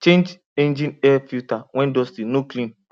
change engine air filter when dusty no clean